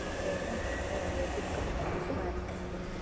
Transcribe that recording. இப்போ என்ன இன்னும் ரெண்டு வருஷத்துக்கு அப்புறம் marriage பண்ணுவோம்.